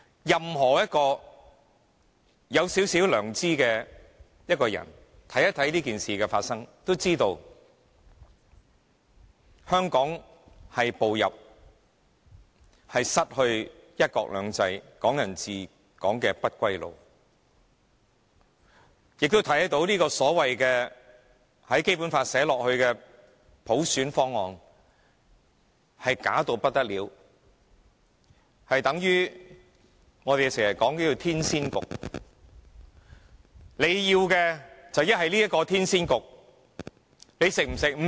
任何一個有少許良知的人，看一看這件事的發生，都知道香港已步上失去"一國兩制"、"港人治港"的不歸路，亦都看到這個所謂寫入《基本法》的普選方案，是虛假到不得了，相等於我們經常說的天仙局，你要麼接受這個天仙局，你吃不吃？